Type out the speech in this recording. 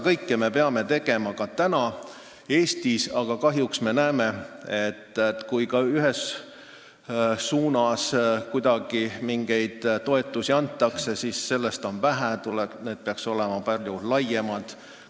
Kõike seda me peaksime tegema ka Eestis, aga kahjuks näeme, et kui ka antakse ühes suunas mingeid toetusi, siis sellest on vähe – need peaks olema palju laiemad.